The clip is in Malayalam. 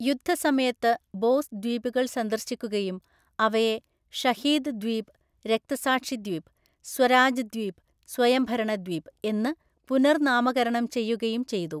യുദ്ധസമയത്ത് ബോസ് ദ്വീപുകൾ സന്ദർശിക്കുകയും അവയെ ഷഹീദ് ദ്വീപ് (രക്തസാക്ഷി ദ്വീപ്), സ്വരാജ് ദ്വീപ് (സ്വയംഭരണ ദ്വീപ്) എന്ന് പുനർനാമകരണം ചെയ്യുകയും ചെയ്തു.